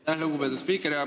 Aitäh, lugupeetud spiiker!